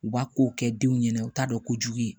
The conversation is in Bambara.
U b'a ko kɛ denw ɲɛna u t'a dɔn ko jugu ye